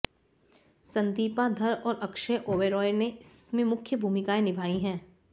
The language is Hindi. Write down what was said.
संदीपा धर और अक्षय ओबेराय ने इसमें मुख्य भूमिकाएं निभाई हैं